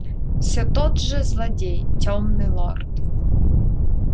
всё тот же злодей тёмный лорд